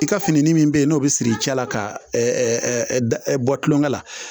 I ka fini min be yen n'o be siri cɛla ka bɔ tulonkɛ la